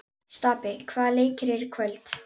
Stapi, hvaða leikir eru í kvöld?